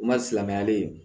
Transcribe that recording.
U ma silamɛyalen ye